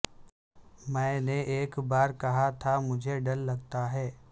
میں نے ایک بار کہاتھا مجھے ڈر لگتا ہے